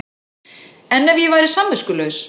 En ef ég væri samviskulaus?